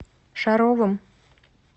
шаровым